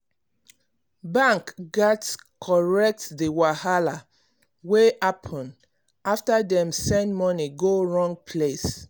bank gats correct the wahala wey happen after dem send money go wrong place